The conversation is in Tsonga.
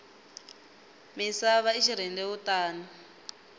misava i xirhendewutani